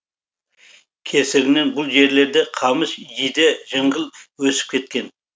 кесірінен бұл жерлерде қамыс жиде жыңғыл өсіп кеткен